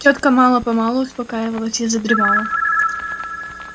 тётка мало-помалу успокаивалась и задремала